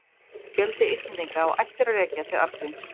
Fjöldi Íslendinga á ættir að rekja til Arngríms.